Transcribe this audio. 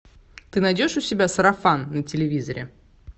ты найдешь у себя сарафан на телевизоре